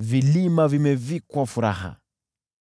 vilima vimevikwa furaha.